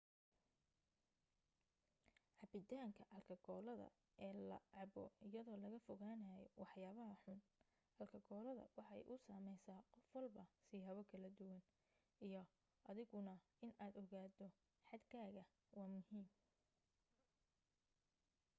cabitaanka alkakoolada eel la cabo iyado laga foganayo waxyabaha xun alkakoolada waxay u sameysa qof walba siyabo kala duwan iyo adiguna in aad ogato xad kaaga waa muhiim